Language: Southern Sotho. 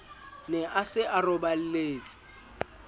ne a se a roballetse